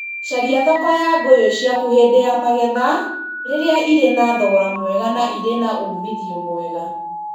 Caria thoko ya ngũyũ ciaku hĩndĩ ya magetha rĩrĩa irĩ na thogora mwega na irĩ na uumithio mwega.